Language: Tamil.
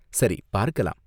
சரி பார்க்கலாம்.